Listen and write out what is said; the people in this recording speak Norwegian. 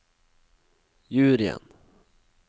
juryen